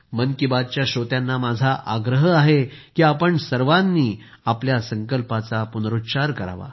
मन की बातच्या श्रोत्यांना माझा आग्रह आहे की आपण सर्वांनी जलबचतीच्या संकल्पाचा पुनरूच्चार करावा